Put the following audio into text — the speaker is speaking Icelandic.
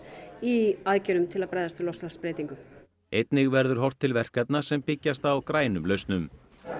í aðgerðum til að bregðast við loftslagsbreytingum einnig verður horft til verkefna sem byggjast á grænum lausnum